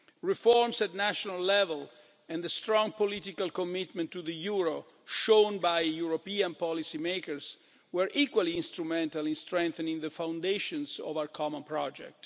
Reforms at national level and the strong political commitment to the euro shown by European policymakers were equally instrumental in strengthening the foundations of our common project.